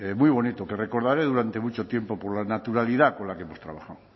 muy bonito que recordaré durante mucho tiempo por la naturalidad con la que hemos trabajado